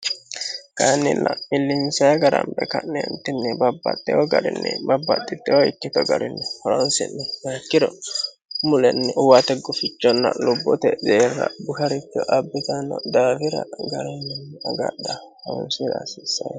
kayiinnilla millinsayii gara hambe ka'neentinni babbaxitewo garinni babbaxxittewo ikkito garinni horoosi'ne maekkiro mulenni uwate gufichonna lubbote deerra busharicho abbitanno daafira garinninni agadha honsira hasiissanno